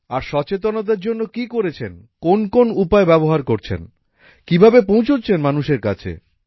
আর সচেতনতার জন্য কি করেছেন কোন কোন উপায় ব্যবহার করছেন কিভাবে পৌঁছাচ্ছেন মানুষের কাছে